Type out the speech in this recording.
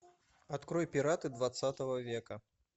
открой пираты двадцатого века